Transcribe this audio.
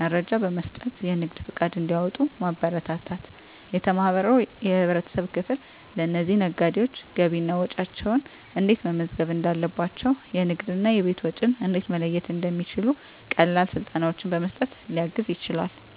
መረጃ በመስጠት የንግድ ፈቃድ እንዲያወጡ ማበረታታት። የተማረው የህብረተሰብ ክፍል ለእነዚህ ነጋዴዎች ገቢና ወጪያቸውን እንዴት መመዝገብ እንዳለባቸው፣ የንግድና የቤት ወጪን እንዴት መለየት እንደሚችሉ ቀላል ስልጠናዎችን በመስጠት ሊያግዝ ይችላል።